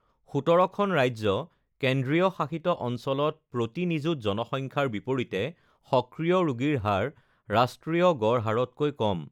১৭খন ৰাজ্য কেন্দ্ৰীয় শাসিত অ্ঞ্চলত প্ৰতি নিযুত জন সংখ্যাৰ বিপৰীতে সক্ৰিয় ৰোগীৰ হাৰ ৰাষ্ট্ৰীয় গড় হাৰতকৈ কম